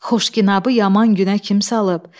Xoşginabı yaman günə kim salıb?